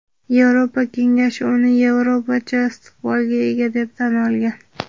Yevropa Kengashi uni "Yevropacha istiqbolga ega" deb tan olgan.